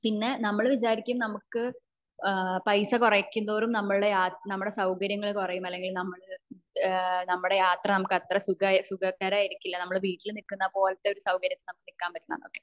പിന്നെ നമ്മൾ വിചാരിക്കും നമുക് പൈസ കുറയ്ക്കും തോറും നമ്മുടെ യാത്ര സൗകര്യങ്ങൾ കുറയും അല്ലെങ്കിൽ നമ്മള് ഏഹ്ഹ് നമ്മുടെ യാത്ര നമുക്ക് അത്ര സുഖകരം ആയിരിക്കില്ല നമ്മുടെ വീട്ടില് നിൽക്കാൻ പറ്റുന്ന സൗകര്യത്തിൽ നമുക്ക് നിൽക്കാൻ പറ്റില്ല എന്നൊക്കെ